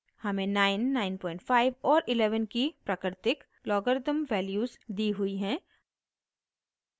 हमें 9 95 और 11 की प्राकृतिक लॉगरिथ्म वैल्यूज़ दी हुई हैं